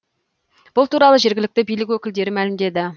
бұл туралы жергілікті билік өкілдері мәлімдеді